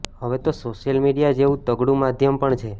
હવે તો social media જેવું તગડું માધ્યમ પણ છે